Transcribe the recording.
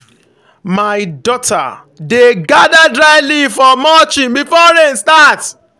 my daughter dey gather dry leaf for mulching before rain start.